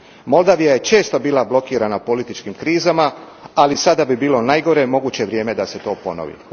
Moldova je često bila blokirana političkim krizama, ali sada bi bilo najgore moguće vrijeme da se to ponovi.